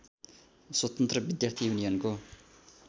स्वतन्त्र विद्यार्थी युनियनको